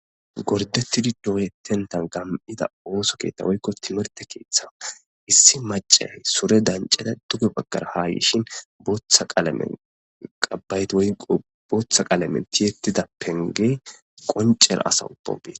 gordettidi dooyetentan gam7ida ooso keeta woykko timerte keeththan issi macay sure dancada duge baggara ha yishin bootha qalamen qabayti oqo bootha qaalamenti yettida penge qoncera asa uppobe